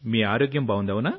మీ ఆరోగ్యం బాగుంది